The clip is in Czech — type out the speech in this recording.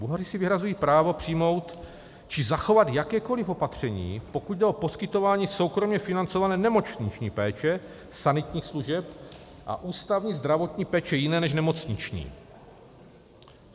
Bulhaři si vyhrazují právo přijmout či zachovat jakékoli opatření, pokud jde o poskytování soukromě financované nemocniční péče, sanitních služeb a ústavní zdravotní péče jiné než nemocniční.